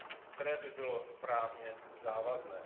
které by bylo právně závazné.